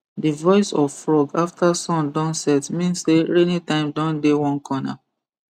the voice of frog after sun don set mean say rainy time don dey one corner